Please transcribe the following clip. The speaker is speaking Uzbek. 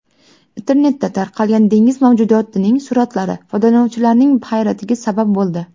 Internetda tarqalgan dengiz mavjudotining suratlari foydalanuvchilarning hayratiga sabab bo‘ldi.